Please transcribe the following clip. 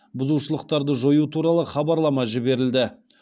бұзушылықтарды жою туралы хабарлама жіберілді